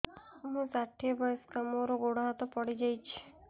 ମୁଁ ଷାଠିଏ ବୟସ୍କା ମୋର ଗୋଡ ହାତ ପଡିଯାଇଛି